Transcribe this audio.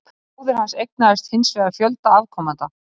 Bróðir hans eignaðist hins vegar fjölda afkomenda.